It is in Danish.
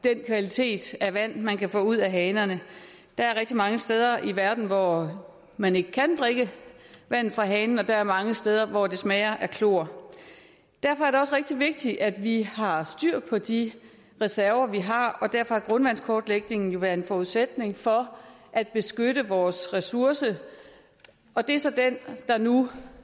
den kvalitet af vand man kan få ud af hanerne der er rigtig mange steder i verden hvor man ikke kan drikke vand fra hanen og der er mange steder hvor det smager af klor derfor er det også rigtig vigtigt at vi har styr på de reserver vi har og derfor er grundvandskortlægningen jo en forudsætning for at beskytte vores ressourcer og det er så den der nu